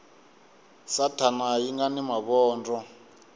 sathana xi nga ni mavondzo